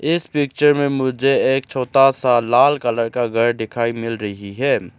इस पिक्चर में मुझे एक छोटा सा लाल कलर का घर दिखाई मिल रही है।